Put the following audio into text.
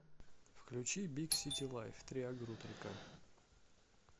включи биг сити лайф триагрутрика